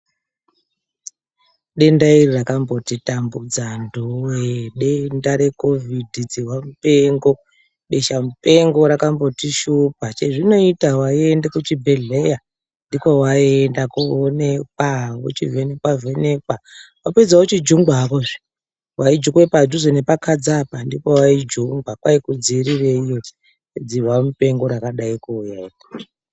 Denda iri rakambotitambudza antuwoye, denda recovid dzihwa mupengo, besha mupengo rakambotishupa chazvinoita waienda kuchibhedhlera ndikokwawaienda koonekwa uchivhenekwa vhenekwa wapedza wochinjungwa hakozve , waijungwa padhuze nepakadza apa ndopawaijungwa kwai kudzivirira iyo dzihwa mupengo yakadai kuuya .